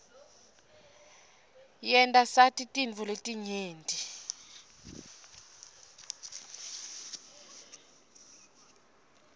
yenta sati tintfo letinyenti